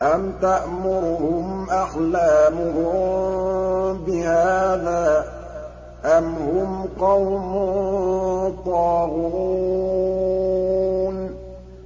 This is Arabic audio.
أَمْ تَأْمُرُهُمْ أَحْلَامُهُم بِهَٰذَا ۚ أَمْ هُمْ قَوْمٌ طَاغُونَ